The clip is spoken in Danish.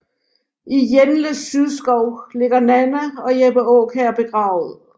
I Jenles sydskov ligger Nanna og Jeppe Aakjær begravet